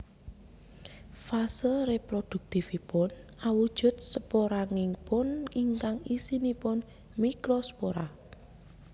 Fase reproduktifipun awujud sporangium ingkang isinipun mikrospora